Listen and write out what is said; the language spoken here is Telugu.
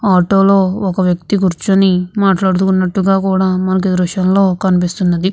ఆటో లో ఒక వ్యక్తి కూర్చొని మాట్లాడుతున్నట్టుగా కూడా మనకి ఈ దృశ్యంలో కనిపిస్తున్నది.